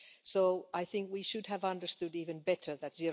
So I think we should have understood even better that